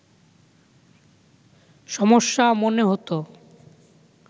সমস্যা মনে হতো